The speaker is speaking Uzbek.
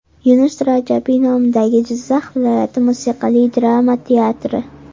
Yunus Rajabiy nomidagi Jizzax viloyati musiqali drama teatri.